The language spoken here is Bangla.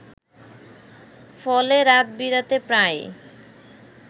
ফলে রাত-বিরাতে প্রায়ই